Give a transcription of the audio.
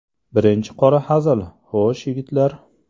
Birinchi qora hazil Xo‘sh, yigitlar.